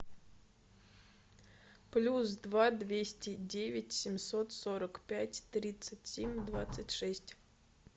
плюс два двести девять семьсот сорок пять тридцать семь двадцать шесть